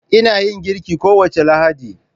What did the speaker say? Ina yin girki kowace Lahadi.